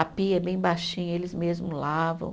A pia é bem baixinha, eles mesmo lavam.